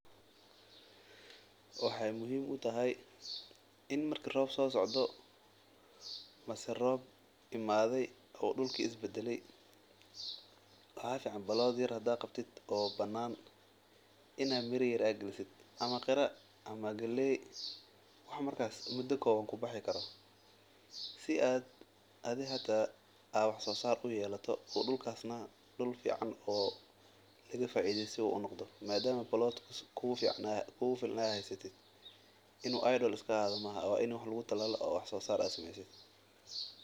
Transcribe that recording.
Waxaay muhiim utahay in marka roob soo socdo mise roob imade waxaa fican in mira yar aad galiso ama qira ama galeey si aad wax soo saar uyekato, waa in wax lagu talalalo oo aad wax soo saarto.